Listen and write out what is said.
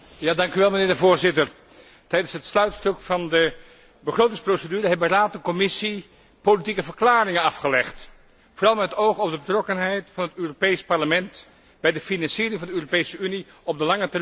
Tijdens het sluitstuk van de begrotingsprocedure hebben Raad en Commissie politieke verklaringen afgelegd, vooral met het oog op de betrokkenheid van het Europees Parlement bij de financiering van de Europese Unie op de lange termijn. Daar heb ik twee vragen bij.